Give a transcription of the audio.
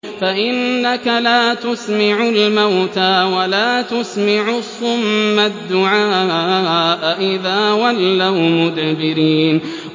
فَإِنَّكَ لَا تُسْمِعُ الْمَوْتَىٰ وَلَا تُسْمِعُ الصُّمَّ الدُّعَاءَ إِذَا وَلَّوْا مُدْبِرِينَ